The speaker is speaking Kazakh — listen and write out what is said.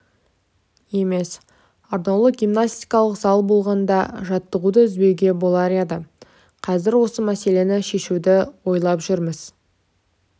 емес атаулы гимнастикалық зал болғанда жаттығуды үзбеуге болар еді қазір осы мәселені шешуді ойлап жүрміз